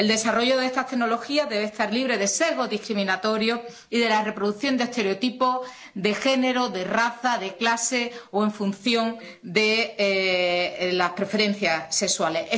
El desarrollo de esta tecnología debe estar libre de sesgos discriminatorios y de la reproducción de estereotipos de género, de raza, de clase o en función de las preferencias sexuales.